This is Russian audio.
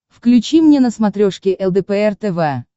включи мне на смотрешке лдпр тв